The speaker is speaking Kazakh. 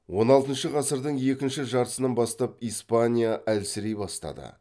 он алтыншы ғасырдың екінші жартысынан бастап испания әлсірей бастады